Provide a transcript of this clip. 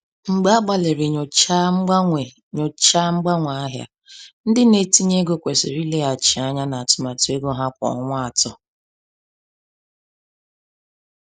Mgbe agbalịrị nyochaa mgbanwe nyochaa mgbanwe ahịa, ndị na-etinye ego kwesịrị ileghachi anya na atụmatụ ego ha kwa ọnwa atọ.